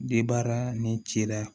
Debaara ni cila